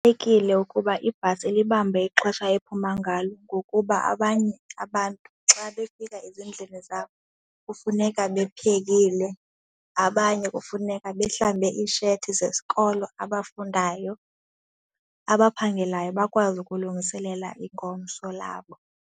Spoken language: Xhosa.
Kubalulekile ukuba ibhasi ilibambe ixesha ephuma ngalo ngokuba abanye abantu xa befika ezindlini zabo kufuneka bephekile, abanye kufuneka bahlambe iishethi zesikolo abafundayo. Abaphangelayo bakwazi ukulungiselela ingomso labo.